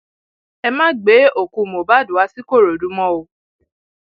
ẹ má gbé òkú mohbad wá sìkòròdú mọ o